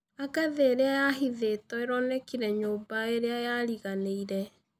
Angathĩ ĩrĩa yahĩthĩtwo ĩronekĩre nyũmba ĩrĩa yarĩganĩĩre